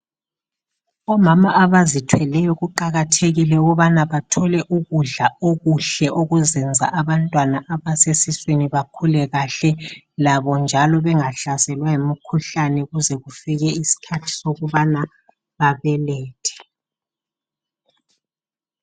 Omama abazithweleyo kuqakathekile ukubana bathole ukudla okuhle okuzenza abantwana abasesiswini bakhule kahle, labo njalo bengahlaselwa yimikhuhlane kuze kufike isikhathi sokubana babelethe.